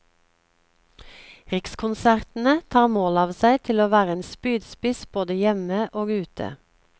Rikskonsertene tar mål av seg til å være en spydspiss både hjemme og ute.